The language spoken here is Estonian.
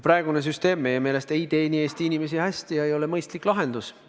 Praegune süsteem meie meelest ei teeni Eesti inimesi hästi ega ole mõistlik lahendus.